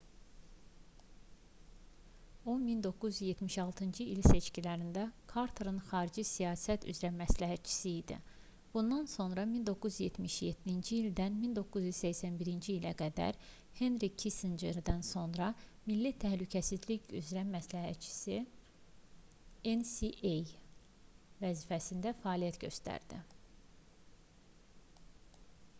o 1976-cı il seçkilərində karterin xarici siyasət üzrə məsləhətçisi idi bundan sonra 1977-ci ildən 1981-ci ilə qədər henri kissincerdən sonra milli təhlükəsizlik üzrə məsləhətçi nsa vəzifəsində fəaliyyət göstərdi